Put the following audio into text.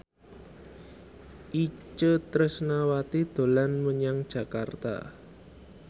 Itje Tresnawati dolan menyang Jakarta